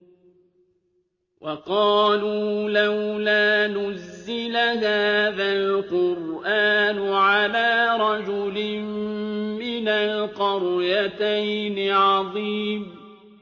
وَقَالُوا لَوْلَا نُزِّلَ هَٰذَا الْقُرْآنُ عَلَىٰ رَجُلٍ مِّنَ الْقَرْيَتَيْنِ عَظِيمٍ